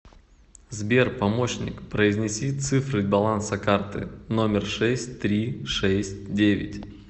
сбер помощник произнеси цифры баланса карты номер шесть три шесть девять